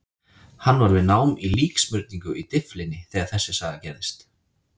Hann var við nám í líksmurningu í Dyflinni þegar saga þessi gerðist.